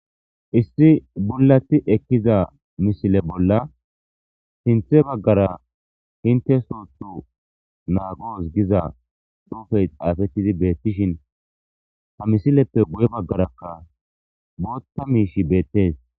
issi bullati ekkiza mishile bolla sinthe baggara hinte sottu naagoos giza xuufey aafettidi beettishin ha misileppe guye baggarakka bootta miish beettees